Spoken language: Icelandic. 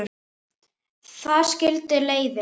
Þar skildi leiðir.